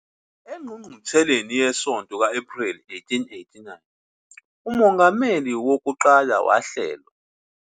Engqungqutheleni yesonto ka-Ephreli 1889, uMongameli Wokuqala wahlelwa kabusha noWilford Woodruff njengomongameli.